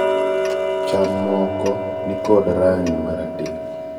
aramanth moko ( magin cham) nig kod range marateng